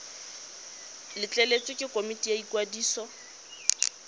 letleletswe ke komiti ya ikwadiso